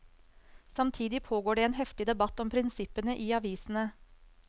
Samtidig pågår det en heftig debatt om prinsippene i avisene.